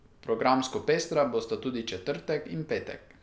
Programsko pestra bosta tudi četrtek in petek.